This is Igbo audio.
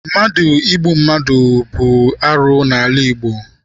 Mmadụ igbu mmadụ ibe bụ arụ n'ala Igbo.